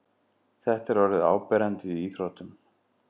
Þetta er orðið áberandi í íþróttum.